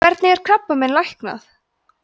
hvernig er krabbamein læknað